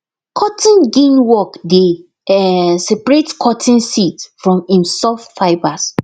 cotton gin work dey um separate cotton seeds from im soft fibres